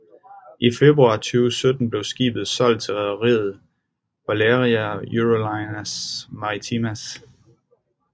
I februar 2017 blev skibet solgt til rederiet BaleàriaEurolineas Maritimas